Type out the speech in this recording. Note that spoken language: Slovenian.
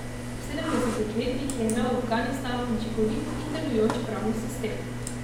V sedemdesetih letih je imel Afganistan učinkovit in delujoč pravni sistem.